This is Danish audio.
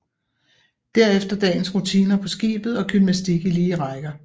Derefter dagens rutiner på skibet og gymnastik i lige rækker